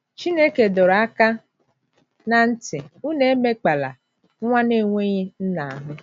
Chineke dọrọ aka ná ntị, Unu emekpala... nwa na - enweghị nna ahụ́.